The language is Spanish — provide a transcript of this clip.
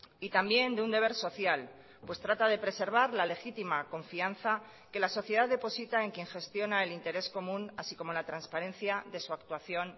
y también de un deber social pues trata de preservar la legítima confianza que la sociedad deposita en quien gestiona el interés común así como la transparencia de su actuación